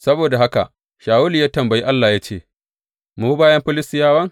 Saboda haka Shawulu ya tambayi Allah ya ce, Mu bi bayan Filistiyawa?